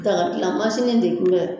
dagadilanmansin de kun bɛ